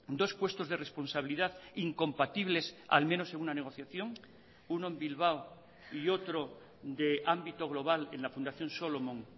dos puestos de responsabilidad incompatibles al menos en una negociación uno en bilbao y otro de ámbito global en la fundación solomon